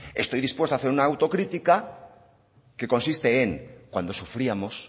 estoy dispuesto a hacer una autocrítica que consiste en cuando sufríamos